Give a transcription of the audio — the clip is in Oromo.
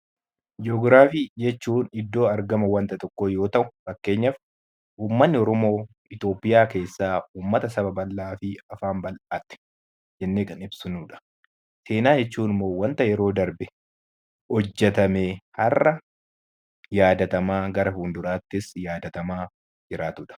Ji'ogiraafii jechuun iddoo argama waanta tokkoo yoo ta'u, fakkeenyaaf uummatni Oromoo Itoophiyaa keessaa uummata saba bal'aa fi afaan bal'aa ti jennee kan ibsinudha. Seenaa jechuun immoo wanta yeroo darbe hojjetamee har'a yaadatamaa gara fuulduraattis yaadatamaa jiraatudha.